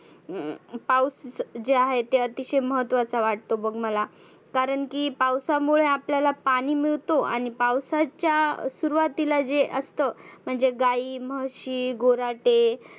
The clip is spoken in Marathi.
हम्म पाऊस जे आहे अतिशय महत्वाचा वाटतो बघ माला. कारण की पावसामुळे आपल्याला पाणि मिळतो आणि पावसाच्या सुरुवातीला जे असतं. म्हणजे गाई म्हशी गुर्हाटे